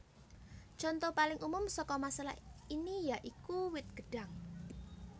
Conto paling umum saka masalah ini ya iku wit gedhang